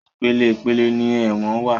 Ìpele ìpele ni ẹ̀wọ̀n wá.